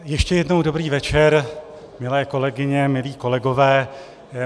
Ještě jednou dobrý večer, milé kolegyně, milí kolegové.